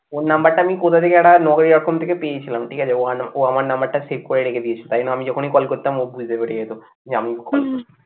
ওর number টা আমি কোথা থেকে একটা থেকে পেয়েছিলাম ঠিক আছে ও আমার number টা save করে রেখেছিলো তাই জন্য আমি যখনি call করতাম ও বুঝতে পেরে যেত, যে আমি